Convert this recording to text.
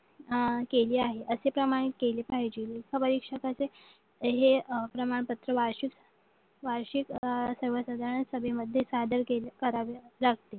अह केली आहे अश्या प्रमाणे केली पाहिजे मुख्य परीक्षकांचे हे प्रमाण पत्र वार्षिक सर्वसाधारण सभेमध्ये सादर करावे लागते